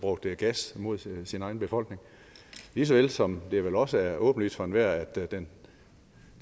brugte gas mod sin egen befolkning lige så vel som det vel også er åbenlyst for enhver at den